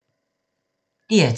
DR2